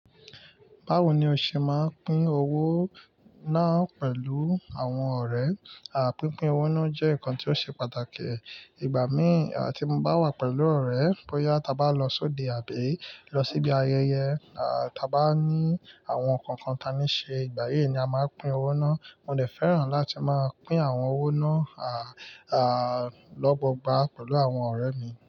Báwo ni o ṣe máa ń pín owó náà pẹ̀lú àwọn ọ̀rẹ́? Pínpín owó náà jẹ́ nǹkan tí ó ṣe pàtàkì. Ìgbà mìí tí mo bá wà pẹ̀lú ọ̀rẹ́, bóyá ta bá lọ sóde àbí lọ síbi ayẹyẹ, ta bá ní àwọn nǹkan kan tí a ní ṣe, ìgbà yí ni a máa pín owó náà. Mo dẹ̀ fẹ́ràn láti máa pín àwọn owó náà lọ́gbọọgba pẹ̀lú àwọn ọ̀rẹ́ mi.